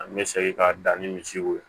An bɛ segin ka dan ni misiw ye